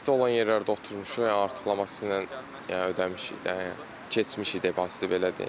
Fasi olan yerlərdə oturmuşuq, artıqlaması ilə yəni ödəmişik də, yəni keçmişik depoziti belə deyim.